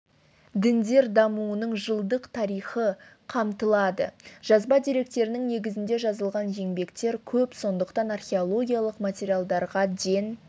діндер дамуының жылдық тарихы қамтылады жазба деректерінің негізінде жазылған еңбектер көп сондықтан археологиялық материалдарға ден